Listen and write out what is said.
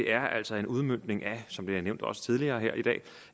er altså en udmøntning af som det er nævnt også tidligere i dag